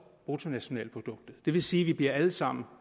bruttonationalproduktet det vil sige at vi alle sammen